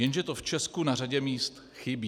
Jenže to v Česku na řadě míst chybí.